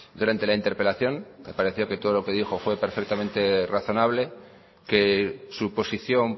durante la interpelación me pareció que todo lo que dijo fue perfectamente razonable que su posición